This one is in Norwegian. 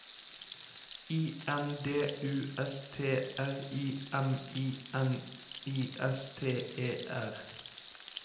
I N D U S T R I M I N I S T E R